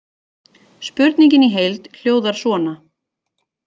Spurningin í heild hljóðar svona: